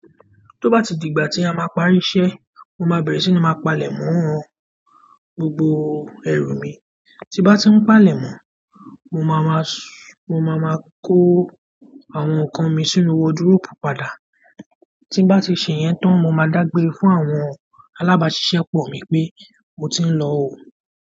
Tó bá ti di ìgbà tí a máa parí iṣẹ́, mo máa bẹ̀rẹ̀ sí ní máa palẹ̀mọ́ gbogbo ẹ̀rù mi. Tí bá ti ń palẹ̀mọ́, mo máa ma, mo máa ma kó àwọn nǹkan mi sínú wardrobe padà. Tí bá ti ṣe iyẹn tán, mo máa dágbére fún àwọn alábáṣiṣẹ́pọ̀ mi pé mo ti ń lọ o.